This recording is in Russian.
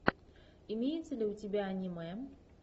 имеется ли у тебя аниме